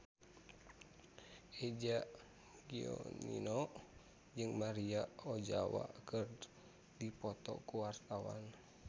Eza Gionino jeung Maria Ozawa keur dipoto ku wartawan